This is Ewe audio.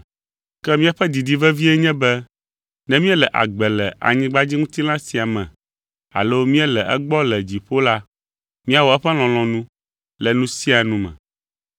Ke míaƒe didi vevie nye be ne míele agbe le anyigbadziŋutilã sia me alo míele egbɔ le dziƒo la, míawɔ eƒe lɔlɔ̃nu le nu sia nu me.